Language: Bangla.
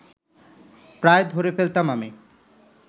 প্রায় ধরে ফেলতাম আমি